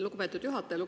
Lugupeetud juhataja!